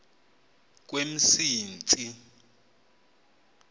kwemsintsi